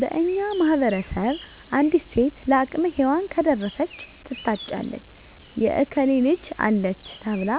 በእኛ ማህበረሰብ አንዲት ሴት ለአቅመ ሄዋን ከደረሰች ትታጫለች የእከሌ ልጅ አለች ተብላ